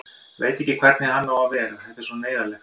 Veit ekki hvernig hann á að vera, þetta er svo neyðarlegt.